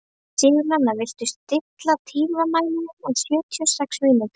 Sigurnanna, stilltu tímamælinn á sjötíu og sex mínútur.